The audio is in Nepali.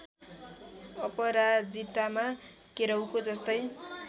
अपराजितामा केराउको जस्तै